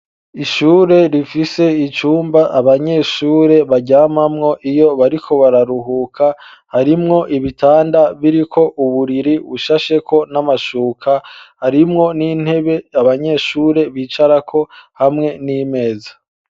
Ishure rifise icumba abanyeshure baryamamwo iyo bariko bararuhuka harimwo ibitanda biriko uburiri ushasheko n'amashuka harimwo n'intebe abanyeshure bicarako hamwe n'imeza.